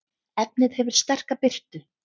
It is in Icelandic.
efnið hefur sterka birtu